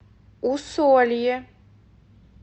усолье